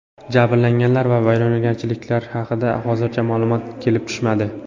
Jabrlanganlar va vayronagarchiliklar haqida hozircha ma’lumot kelib tushmadi.